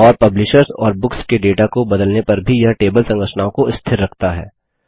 और पब्लिशर्स और बुक्स के डेटा को बदलने पर भी यह टेबल संरचनाओं को स्थिर रखता है